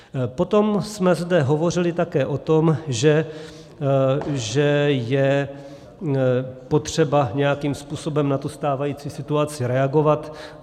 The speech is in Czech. Potom jsme zde hovořili také o tom, že je potřeba nějakým způsobem na tu stávající situaci reagovat.